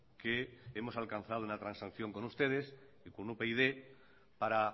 que hemos alcanzado una transacción con ustedes y con upyd para